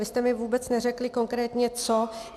Vy jste mi vůbec neřekli konkrétně co.